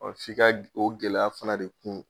Ɔ f'i ka o gɛlɛya fana de kun.